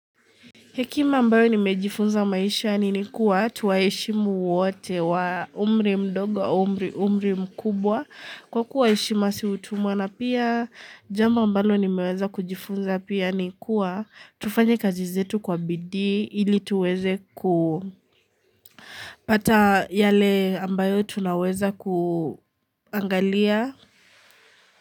Hekima ambayo nimejifunza maisha ni nikuwa tuwaheshimu wote wa umri mdogo, au umri mkubwa. Kwa kuwa heshima si utumwa na pia jambo ambalo nimeweza kujifunza pia nikuwa tufanya kazi zetu kwa bidii ili tuweze kupata yale ambayo tunaweza kuangalia.